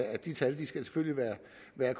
man